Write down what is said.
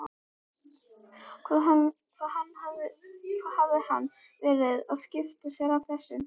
Hvað hafði hann verið að skipta sér af þessu?